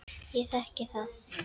Ég þekki það.